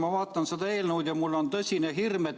Ma vaatan seda eelnõu ja mul on tõsine hirm.